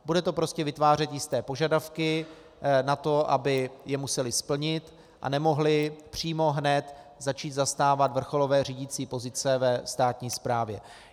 Bude to prostě vytvářet jisté požadavky na to, aby je museli splnit a nemohli přímo hned začít zastávat vrcholové řídicí pozice ve státní správě.